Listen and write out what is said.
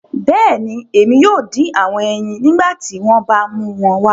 Bẹẹni, Emi yoo din awọn ẹyin nigbati wọn ba mu wọn wá